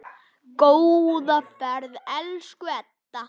Góða ferð, elsku Edda.